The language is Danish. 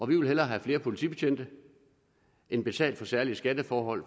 vil hellere have flere politibetjente end betale for særlige skatteforhold